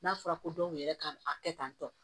N'a fɔra ko dɔw yɛrɛ ka a kɛ tan tɔ